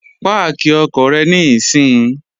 Páàkì ọkọ̀ rẹ níìsín!